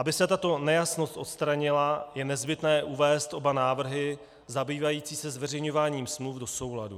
Aby se tato nejasnost odstranila, je nezbytné uvést oba návrhy zabývající se zveřejňováním smluv do souladu.